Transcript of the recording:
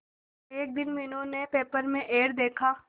एक दिन मीनू ने पेपर में एड देखा